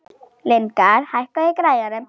Lyngar, hækkaðu í græjunum.